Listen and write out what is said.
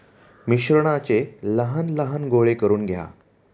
मिश्रणाचे लहान लहान गोळे करून घ्या.